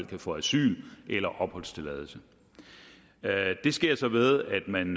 kan få asyl eller opholdstilladelse det sker så ved at man